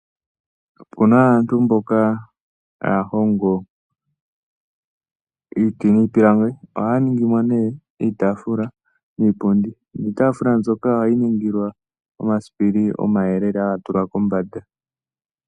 Opu na aantu mboka haya hongo iiti niipilangi. Ohaya ningi mo nee iitaafula niipundi. Niitaafula mbyoka ohayi ningilwa omasipili omayelele haga tulwa kombanda.